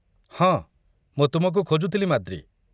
ହଁ, ମୁଁ ତୁମକୁ ଖୋଜୁଥିଲି, ମାଦ୍ରୀ।